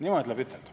Niimoodi tuleb ütelda.